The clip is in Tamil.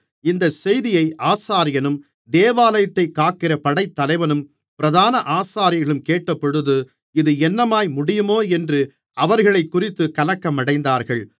இந்தச் செய்தியை ஆசாரியனும் தேவாலயத்தைக் காக்கிற படைத்தலைவனும் பிரதான ஆசாரியர்களும் கேட்டபொழுது இது என்னமாய் முடியுமோ என்று அவர்களைக்குறித்துக் கலக்கமடைந்தார்கள்